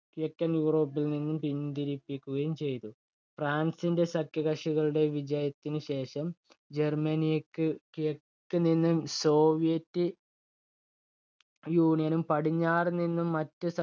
കിഴക്കൻ യൂറോപ്പിൽ നിന്നും പിന്തിരിപ്പിക്കുകയും ചെയ്തു. ഫ്രാൻസിന്റെ സഖ്യകക്ഷികളുടെ വിജയത്തിനു ശേഷം ജർമ്മനിയെ ക്ക് കിഴക്ക് നിന്ന് സോവിയറ്റ് യൂണിയനും പടിഞ്ഞാറ് നിന്ന് മറ്റ്